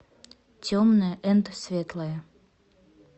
темное энд светлое